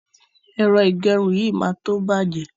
Ẹ̀rọ ìgẹrun yìí máa tó bàjẹ́.